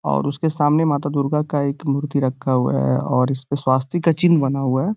और उसके सामने माता दुर्गा का एक मूर्ति रखा हुआ है और इसपे स्वास्तिक का चिन्ह बना हुआ है।